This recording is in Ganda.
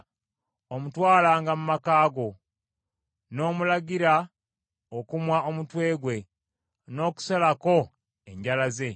omutwalanga mu maka go, n’omulagira okumwa omutwe gwe, n’okusalako enjala ze,